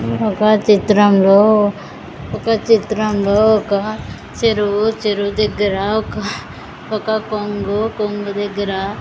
ఒక చిత్రంలో ఒక చిత్రంలో ఒక చెరువు చెరువు దగ్గర ఒక ఒక కొంగు కొంగు దగ్గర--